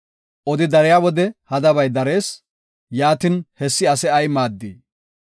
Odi dariya wode hadabay darees; yaatin hessi ase ay maaddii?